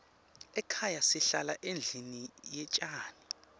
ekhaya sihlala endlini yetjani